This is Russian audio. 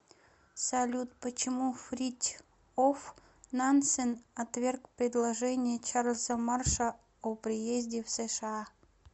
салют почему фритьоф нансен отверг предложение чарльза марша о приезде в сша